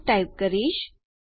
to type કરીશ